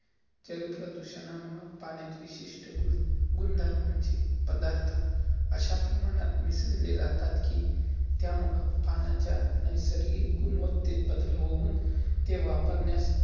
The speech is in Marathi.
जलप्रदूषणा मुळं पाण्यात, विशिष्ट गुण~गुन्धर्मांचे पदार्थ अश्या प्रमाणात मिसळय जातात कि त्यामुलं, पाण्याच्या नैसर्गिक गुन्वत्तेत बदल होउन ते वापरण्यास